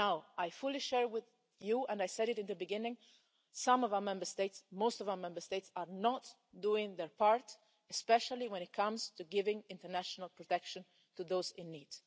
I fully share with you and I said it at the beginning most of our Member States are not doing their part, especially when it comes to giving international protection to those in need.